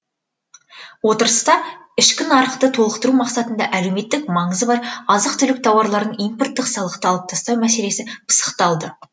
отырыста ішкі нарықты толықтыру мақсатында әлеуметтік маңызы бар азық түлік тауарларын импорттық салықты алып тастау мәселесі пысықталды